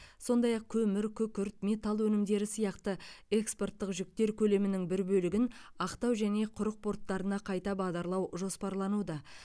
сондай ақ көмір күкірт металл өнімдері сияқты экспорттық жүктер көлемінің бір бөлігін ақтау және құрық порттарына қайта бағдарлау жоспарлануда